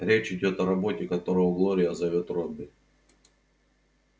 речь идёт о роботе которого глория зовёт робби